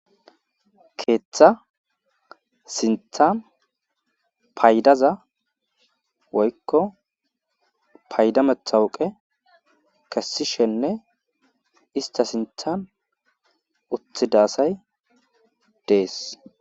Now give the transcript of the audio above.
Keetha sinthan paydaza woykko payda mattawqe kessishenne istta sinthan uttida asay dees.